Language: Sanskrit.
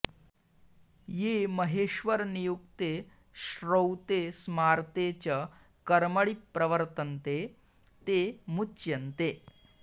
ये महेश्वरनियुक्ते श्रौते स्मार्ते च कर्मणि प्रवर्तन्ते ते मुच्यन्ते